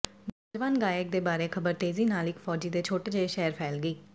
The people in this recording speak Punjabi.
ਨੌਜਵਾਨ ਗਾਇਕ ਦੇ ਬਾਰੇ ਖਬਰ ਤੇਜ਼ੀ ਨਾਲ ਇਕ ਫ਼ੌਜੀ ਦੇ ਛੋਟੇ ਜਿਹੇ ਸ਼ਹਿਰ ਫ਼ੈਲ ਗਈ